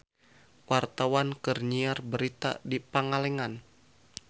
Wartawan keur nyiar berita di Pangalengan